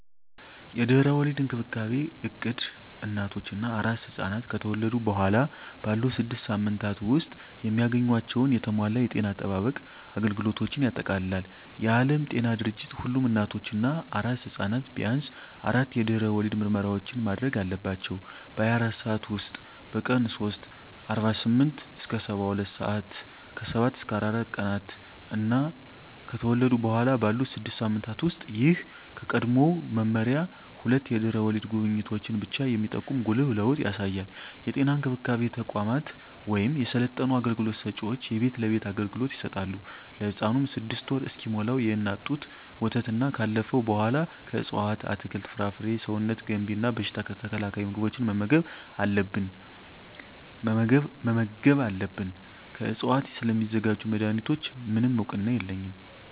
የድህረ ወሊድ እንክብካቤ እቅድ እናቶች እና አራስ ሕፃናት ከተወለዱ በኋላ ባሉት ስድስት ሳምንታት ውስጥ የሚያገኟቸውን የተሟላ የጤና አጠባበቅ አገልግሎቶችን ያጠቃልላል። የዓለም ጤና ድርጅት ሁሉም እናቶች እና አራስ ሕፃናት ቢያንስ አራት የድህረ ወሊድ ምርመራዎችን ማድረግ አለባቸው - በ24 ሰዓት ውስጥ፣ በቀን 3 (48-72 ሰአታት)፣ ከ7-14 ቀናት እና ከተወለዱ በኋላ ባሉት 6 ሳምንታት ውስጥ። ይህ ከቀድሞው መመሪያ ሁለት የድህረ ወሊድ ጉብኝቶችን ብቻ የሚጠቁም ጉልህ ለውጥ ያሳያል። የጤና እንክብካቤ ተቋማት ወይም የሰለጠኑ አገልግሎት ሰጭዎች የቤት ለቤት አገልግሎት ይሰጣሉ። ለህፃኑም 6ወር እስኪሞላው የእናት ጡት ወተትና ካለፈው በኃላ ከእፅዋት አትክልት፣ ፍራፍሬ ሰውነት ገንቢ እና በሽታ ተከላካይ ምግቦችን መመገብ አለብን። ከዕፅዋት ስለሚዘጋጁ መድኃኒቶች፣ ምንም እውቅና የለኝም።